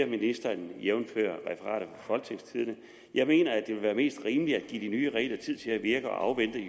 ministeren jævnfør referatet folketingstidende jeg mener at det vil være mest rimeligt at give de nye regler tid til at virke og